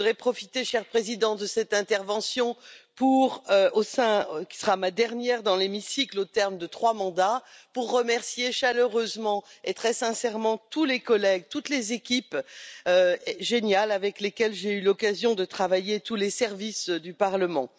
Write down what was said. Je voudrais profiter, cher Président, de cette intervention, qui sera ma dernière dans l'hémicycle, au terme de trois mandats, pour remercier chaleureusement et très sincèrement tous les collègues, toutes les équipes géniales avec lesquelles j'ai eu l'occasion de travailler, tous les services du Parlement.